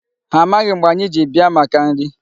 Ha amaghị mgbe anyị ji bịa maka nri.